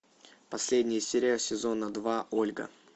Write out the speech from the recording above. последняя серия сезона два ольга